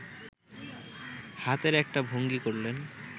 হাতের একটা ভঙ্গি করলেন